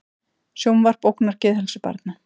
Sjónvarp ógnar geðheilsu barna